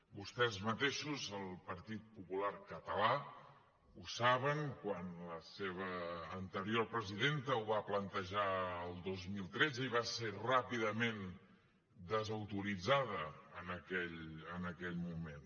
vostès mateixos el partit popular català ho saben quan la seva anterior presidenta ho va plantejar el dos mil tretze i va ser ràpidament desautoritzada en aquell moment